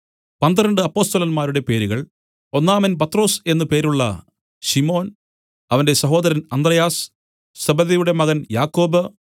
പന്ത്രണ്ട് അപ്പൊസ്തലന്മാരുടെ പേരുകൾ ഒന്നാമൻ പത്രൊസ് എന്നു പേരുള്ള ശിമോൻ അവന്റെ സഹോദരൻ അന്ത്രെയാസ് സെബെദിയുടെ മകൻ യാക്കോബ്